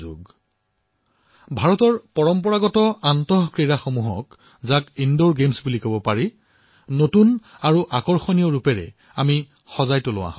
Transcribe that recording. আমি ভাৰতৰ পাৰম্পৰিক ইনডোৰ গেমসমূহক নতুন আৰু আকৰ্ষক ৰূপত প্ৰস্তুত কৰো